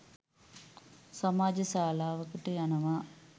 සමාජ ශාලාවකට යනවා